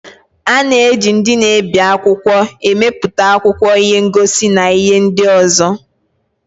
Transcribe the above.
A na-eji ndị na-ebi akwụkwọ emepụta akwụkwọ, ihe ngosi, na ihe ndị ọzọ.